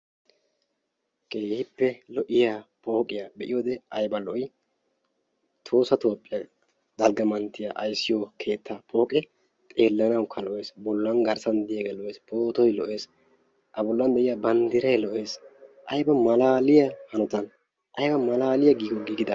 keehippe lo'iyaa pooqiyaa be'iyoode ayba lo'ii! tohossa toophiyaa dalgga manttiyaa aysiyoo keettaa poqee xeellanawukka lo'ees, bollan garssan diyaagee lo'ees, pootoy lo'ees, a bollan de'iyaa bandiiray lo'ees, ayba malaliyaa giiguwaan giigidabee!